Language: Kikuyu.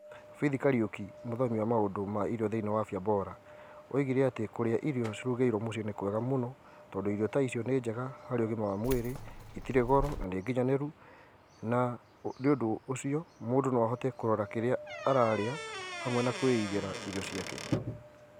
Faith Kariuki, mũthomi wa maũndũ ma irio thĩinĩ wa Afya Bora, oigire atĩ kũrĩa irio cirugairwo mũciĩ nĩ kwega mũno tondũ irio ta icio nĩ njega harĩ ũgima wa mwĩrĩ, itirĩ goro na nĩ ginyanĩru, na nĩ ũndũ ũcio mũndũ no ahote kurora kĩrĩa ararĩa hamwe kuiigĩra irio ciake.